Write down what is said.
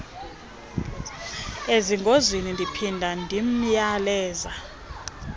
ezingozini ndiphinda ndimyaleza